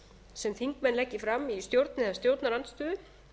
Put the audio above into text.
sem þingmenn leggi fram í stjórn eða stjórnarandstöðu